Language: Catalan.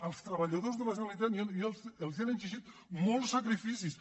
als treballadors de la generalitat els han exigit molts sacrificis